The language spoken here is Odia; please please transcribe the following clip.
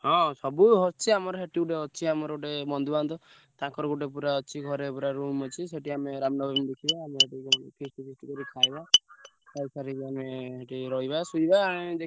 ହଁ ସବୁ ସ~ ରିଚି~ ଆମର ସେଠି ଗୋଟେ ଅଛି ଆମର ଗୋଟେ ବନ୍ଧୁବାନ୍ଧବ। ତାଙ୍କର ଗୋଟେ ପୁରା ଅଛି ଘରେ ପୁରା room ଅଛି ସେଠି ଆମେ ରାମନବମୀ ଦେଖିବା ଆମେ ସେଠି ପୁଣି feast feast କରି ଖାଇବା। ସାରିକି ଆମେ ସେଠି ରହିବା ଶୋଇବା ଆଁ।